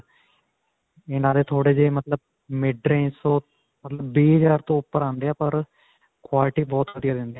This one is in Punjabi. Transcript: ਇਨ੍ਹਾਂ ਦੇ ਥੋੜੇ ਜੇ ਮਤਲਬ mid-range ਤੋਂ ਮਤਲਬ, ਵੀਹ ਹਜ਼ਾਰ ਤੋਂ ਉਪਰ ਆਉਂਦੇ ਹੈ ਪਰ quality ਬਹੁਤ ਵਧੀਆ ਦਿੰਦੇ ਹੈ.